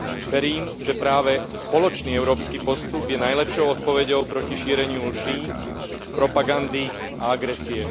Verím, že práve spoločný európsky postup je najlepšou odpoveďou proti šíreniu lží, propagandy a agresie.